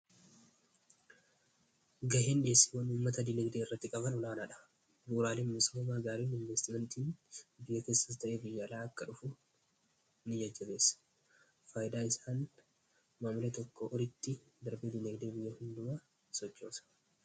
Ga'een dhiyeessiiwwan uummataa diinaagdee irratti qaban olaanaa dha. Bu'uraaleen misomaa gaariin investimentii biyya keessas ta'ee fiyyaalaa akka dhufu in jajjatessa faaydaa isaan maamalee tokko uritti darbee dinigdee biyya hunda sochoosa.